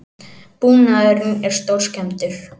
Búnaðurinn er stórskemmdur